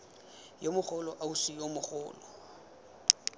yo mogolo ausi yo mogolo